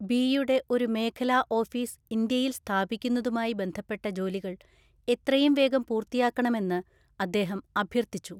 ബിയുടെ ഒരു മേഖലാ ഓഫീസ് ഇന്ത്യയില്‍ സ്ഥാപിക്കുന്നതുമായി ബന്ധപ്പെട്ട ജോലികള്‍ എത്രയും വേഗം പൂർത്തിയാക്കണമെന്ന് അദ്ദേഹം അഭ്യർത്ഥിച്ചു.